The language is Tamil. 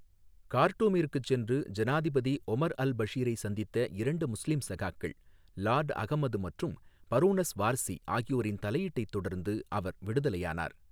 கார்ட்டூமிற்குச் சென்று ஜனாதிபதி ஒமர் அல் பஷீரை சந்தித்த இரண்டு முஸ்லீம் சகாக்கள், லார்ட் அகமது மற்றும் பரோனஸ் வார்சி ஆகியோரின் தலையீட்டைத் தொடர்ந்து அவர் விடுதலையானார்.